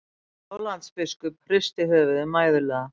Sjálandsbiskup hristi höfuðið mæðulega.